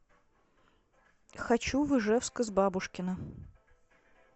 хочу в ижевск из бабушкина